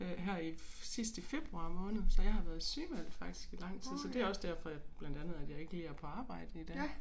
Øh her i sidst i februar måned så jeg har været sygemeldt faktisk i lang tid så det også derfor jeg blandt andet at jeg ikke lige er på arbejde i dag